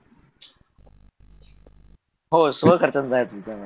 हो स्वखर्चाने जायचं होतं